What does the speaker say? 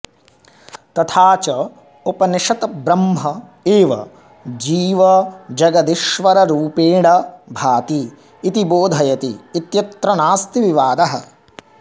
तथा च उपनिषत् ब्रह्म एव जीवजगदीश्वररूपेण भाति इति बोधयति इत्यत्र नास्ति विवादः